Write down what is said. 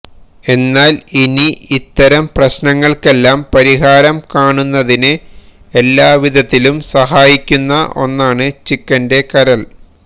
എന്നാല് ഇനി ഇത്തരം പ്രശ്നങ്ങള്ക്കെല്ലാം പരിഹാരം കാണുന്നതിന് എല്ലാ വിധത്തിലും സഹായിക്കുന്ന ഒന്നാണ് ചിക്കന്റെ കരള്